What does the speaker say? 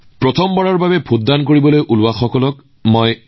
এনে প্ৰতিটো প্ৰচেষ্টাই আমাৰ গণতন্ত্ৰৰ উদযাপনত বিভিন্ন ৰং সংযোজন কৰি আছে